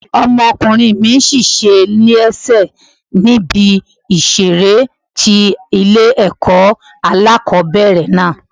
Ọmọkùnrin mi ṣe léṣe ní ibi ìṣeré tí ilé ẹ̀kọ́ alákòbẹ̀rẹ̀ náà.